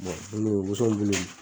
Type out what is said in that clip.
woso bulu.